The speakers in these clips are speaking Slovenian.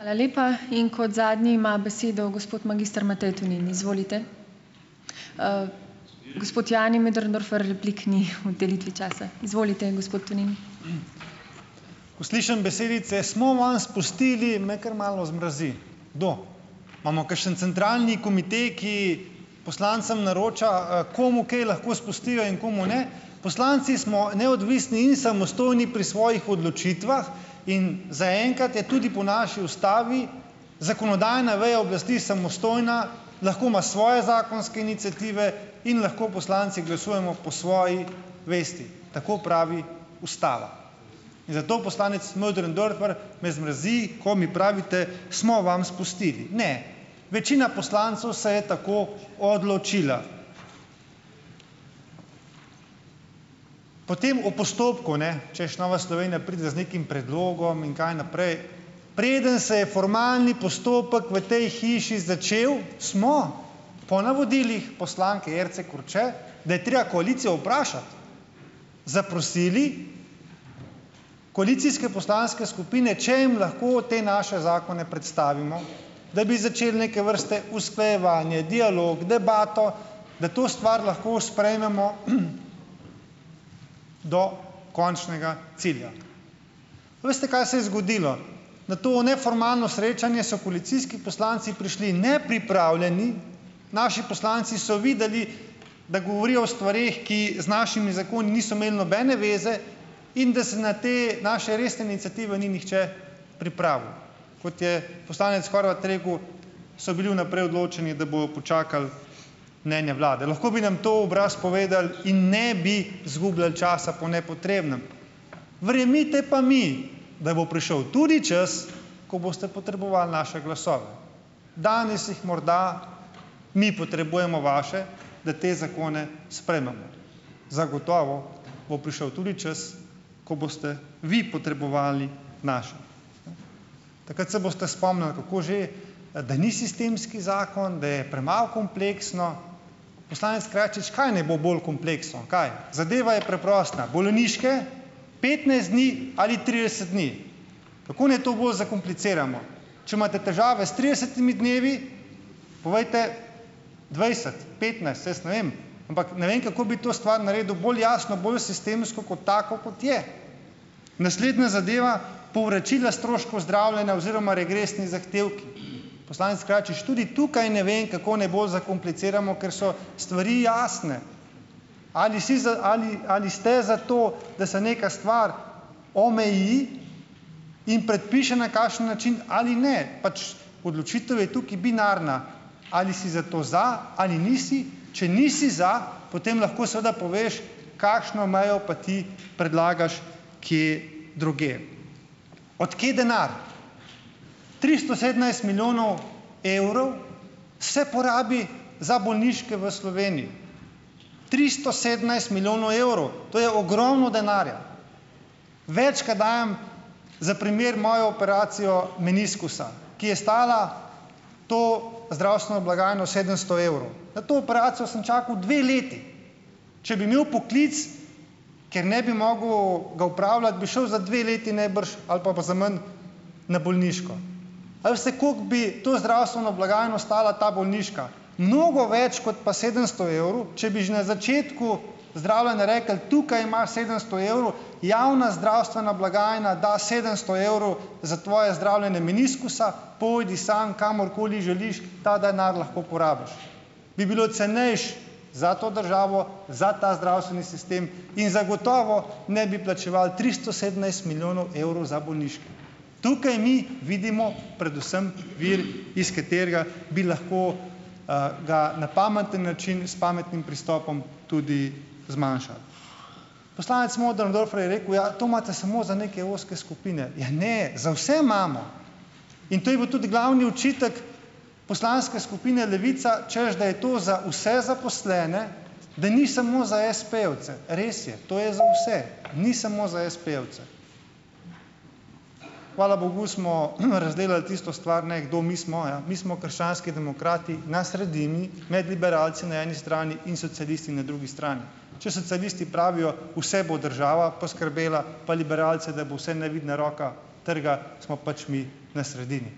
Ko slišim besedice "smo vam spustili", me kar malo zmrazi. Kdo? Imamo kakšen centralni komite, ki poslancem naroča, komu kaj lahko spustijo in komu ne, poslanci smo neodvisni in samostojni pri svojih odločitvah in zaenkrat je tudi po naši ustavi zakonodajna veja oblasti samostojna, lahko ima svoje zakonske iniciative in lahko poslanci glasujemo po svoji vesti, tako pravi ustava, in zato, poslanec Möderndorfer, me zmrazi, ko mi pravite: "Smo vam spustili." Ne, večina poslancev se je tako odločila. Potem o postopku, ne, češ, Nova Slovenija pride z nekim predlogom in kaj naprej, preden se je formalni postopek v tej hiši začel, smo po navodilih poslanke Jerce Korče, da je treba koalicijo vprašati, zaprosili koalicijske poslanske skupine, če jim lahko te naše zakone predstavimo, da bi začeli neke vrste usklajevanje, dialog, debato, da to stvar lahko sprejmemo, do končnega cilja. Veste, kaj se je zgodilo? Na to neformalno srečanje so koalicijski poslanci prišli nepripravljeni, naši poslanci so videli, da govorijo o stvareh, ki z našimi zakoni niso imeli nobene zveze, in da se na te naše resne iniciative ni nihče pripravil, kot je poslanec Horvat rekel, so bili vnaprej odločeni, da bojo počakali mnenja vlade, lahko bi na to v obraz povedal in ne bi izgubljali časa po nepotrebnem, verjemite pa mi, da bo prišel tudi čas, ko boste potrebovali naše glasove, danes jih morda mi potrebujemo vaše, da te zakone sprejmemo, zagotovo bo prišel tudi čas, ko boste vi potrebovali naše. Takrat se boste spomnili, kako že da ni sistemski zakon, da je premalo kompleksno, poslanec Krajačič, kaj naj bo bolj kompleksno, kaj, zadeva je preprosta, bolniške petnajst dni ali trideset dni, kako naj to bolj zakompliciramo, če imate težave s tridesetimi dnevi, povejte, dvajset, petnajst, saj jaz ne vem, ampak ne vem, kako bi to stvar naredili bolj jasno, bolj sistemsko, kot tako, kot je, naslednja zadeva, povračila stroškov zdravljenja oziroma regresni zahtevki, poslanec Krajačič, tudi tukaj ne vem, kako naj bolj zakompliciramo, ker so stvari jasne, ali si za ali ali ste za to, da se neka stvar omeji in predpiše, na kakšen način ali ne, pač odločitev je tukaj binarna, ali si zato, za, ali nisi, če nisi za, potem lahko seveda poveš, kakšno mejo pa ti predlagaš, kje drugje, od kje denar, tristo sedemnajst milijonov evrov se porabi za bolniške v Sloveniji, tristo sedemnajst milijonov, to je ogromno denarja, več, kot dajem, za primer mojo operacijo meniskusa, ki je stala to zdravstveno blagajno sedemsto evrov, na to operacijo sem čakal dve leti, če bi imel poklic, ker ne bi mogel ga opravljati, bi šel za dve leti ali pa za manj na bolniško, ali vsaj koliko bi to zdravstveno blagajno stala ta bolniška, mnogo več kot pa sedemsto evrov, če bi že na začetku zdravljenja rekli: "Tukaj imaš sedemsto evrov, javna zdravstvena blagajna da sedemsto evrov za tvoje zdravljenje meniskusa, pojdi sam kamorkoli želiš, ta denar lahko porabiš, bi bilo cenejše za to državo, za ta zdravstveni sistem, in zagotovo ne bi plačevali tristo sedemnajst milijonov evrov za bolniške, tukaj mi vidimo predvsem vir, iz katerega bi lahko, ga na pameten način, s pametnim pristopom, tudi zmanjšali, poslanec Möderndorfer je rekel: "Ja, to imate samo za neke ozke skupine." Ja ne, za vse imamo, in to je bil tudi glavni očitek poslanske skupine Levica, češ da je to za vse zaposlene, da ni samo za espejevce, res je, to je za vse, ni samo za espejevce, hvala bogu smo razdelali tisto stvar, ne, kdo mi smo. Ja, mi smo krščanski demokrati na sredini med liberalci na eni strani in socialisti na drugi strani, če socialisti pravijo: "Vse bo država poskrbela." Pa liberalci, da bo vse nevidna roka trga, smo pač mi na sredini,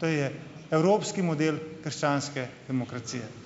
to je evropski model krščanske demokracije.